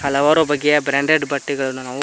ಹಲವಾರು ಬಗೆಯ ಬ್ರಾಂಡೆಡ್ ಬಟ್ಟೆಗಳನ್ನ ನಾವು--